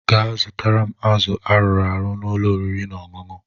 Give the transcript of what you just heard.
Gaa zụtara m azụ arụrụ arụ na ụlọ oriri na ọṅụṅụ